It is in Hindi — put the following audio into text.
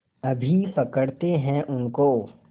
अभी पकड़ते हैं उनको